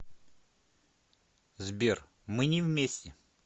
сбер мы не вместе